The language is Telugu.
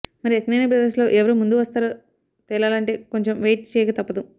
మరి అక్కినేని బ్రదర్స్ లో ఎవరు ముందు వస్తారో తేలాలంటే కొంచెం వెయిట్ చేయక తప్పదు